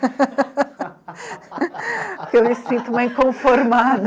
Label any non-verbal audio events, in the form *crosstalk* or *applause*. *laughs* Porque eu me sinto uma inconformada.